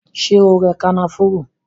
Ṣé o rẹ kànáfùrú?